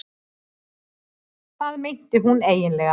Hvað meinti hún eiginlega?